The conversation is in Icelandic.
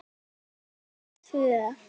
Börn hans eru tvö.